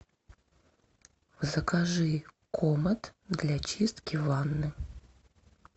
закажи комет для чистки ванны